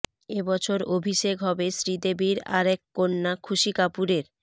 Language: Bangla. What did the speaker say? এই বছর অভিষেক হবে শ্রীদেবীর আরেক কন্যা খুশি কাপুরের